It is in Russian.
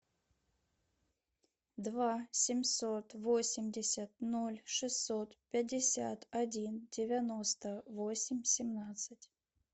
два семьсот восемьдесят ноль шестьсот пятьдесят один девяносто восемь семнадцать